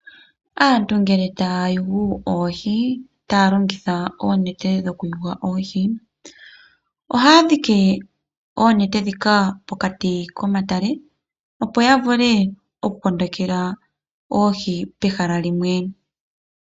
Aantu ngele taya yugu oohi taya longitha oonete dhoku yuga oohi ohaya dhiki oonete ndhika pokati komatale opo ya vule oku kondekela oohi pehala limwe.